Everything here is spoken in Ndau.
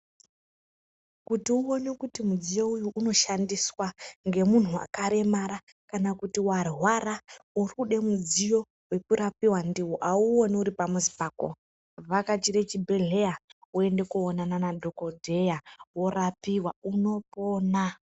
Kuti uone kuti mudziyo uyu unoshandiswa ngemuntu wakaremara kana kuti warwara uri kude mudziyo wekurapiwa ndiwo auoni uri pamuzi pako vhakachire chibhedhleya wende koonana nadhokodheya worapiwa unopona.